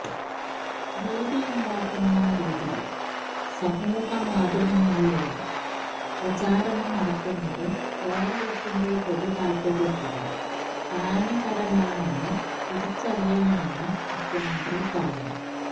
ഭീതിയുണ്ടാക്കുന്ന രീതിയില് സമൂഹ മാധ്യമങ്ങളിലൂടെ പ്രചാരണം നടത്തുന്നത് കേരളത്തിന്റെ പൊതുതാല്പര്യത്തിന് ഹാനികരമാണെന്ന് തിരിച്ചറിയണമെന്നും മുഖ്യമന്ത്രി പറഞ്ഞു